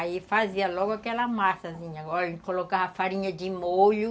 Aí fazia logo aquela massazinha, colocava farinha de molho,